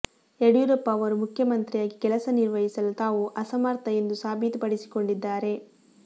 ಯಡಿಯೂರಪ್ಪ ಅವರು ಮುಖ್ಯಮಂತ್ರಿಯಾಗಿ ಕೆಲಸ ನಿರ್ವಹಿಸಲು ತಾವು ಅಸಮರ್ಥ ಎಂದು ಸಾಬೀತು ಪಡಿಸಿಕೊಂಡಿದ್ದಾರೆ